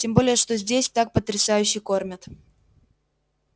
тем более что здесь так потрясающе кормят